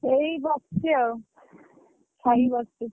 ଏଇ ବସିଛି ଆଉ ଖାଇକି ବସଚି।